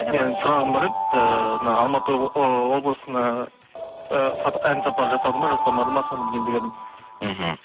менің сұрағым бар еді ыыы мына алматы ыыы облысына ы ән сапарын жасады ма жасамады ма соны білейін деп едім мхм